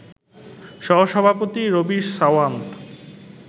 সহ-সভাপতি রবি সাওয়ান্ত